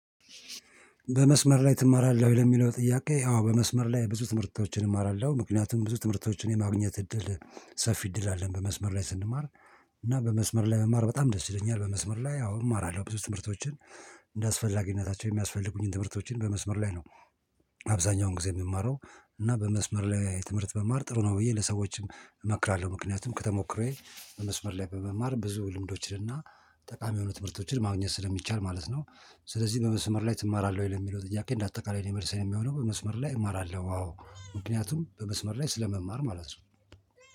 በመስመር ላይ ትማራለህ? ለሚለው ጥያቄ አዎ በመስመር ላይ ብዙ ትምህርቶችን እማራለሁ ምክንያቱም ብዙ ትምህርቶችን የማግኘት እድል ሰፊ እድል አለን። በመስመር ላይ ስንማር እና በመስመር ላይ በመማር በጣም ደስ ይለኛል። በመስመር ላይ አሁን እማራለሁ ብዙ ትምህርቶችን እንደ አስፈላጊነታቸው የሚያስፈልጉኝን ትምህርቶችን በመስመር ላይ ነው። አብዛኛውን ጊዜ የሚማረው እና በመስመር ላይ የትምህርት በማር ጥሩ ነው ብዬ ለሰዎችም እመክራለሁ። ምክንያቱም ከተሞክሮዬ በመስመር ላይ በመማር ብዙ ልምዶችንና ጠቃሚ የሆኑ ትምህርቶችን ማግኘት ስለሚቻል ማለት ነው። ስለዚህ በመስመር ላይ ትማራለህ ወይ ለሚለው ጥያቄ? እንደ አጠቃላይ ነው የመልሰን የሚሆነው በመስመር ላይ እማራለሁ። አዎ ምክንያቱም በመስመር ላይ ስለመማር ማለት ነው።